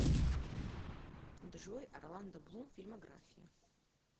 джой орландо блум фильмография